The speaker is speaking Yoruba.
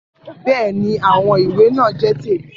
Bẹ́ẹ̀ ni, àwọn ìwé náà jẹ́ tèmi